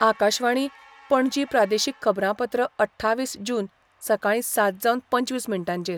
आकाशवाणी, पणजी प्रादेशीक खबरांपत्र अठ्ठावीस जून, सकाळी सात जावन पंचवीस मिनटांचेर